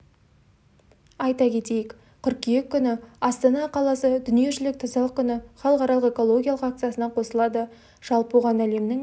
айта кетейік қыркүйек күні астана қаласы дүниежүзілік тазалық күні халықаралық экологиялық акциясына қосылады жалпы оған әлемнің